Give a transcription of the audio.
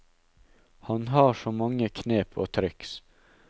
Han har så mange knep og triks.